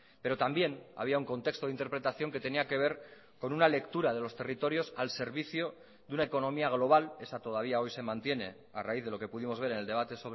pero también había un contexto de interpretación que tenía que ver con una lectura de los territorios al servicio de una economía global esa todavía hoy se mantiene a raíz de lo que pudimos ver en el debate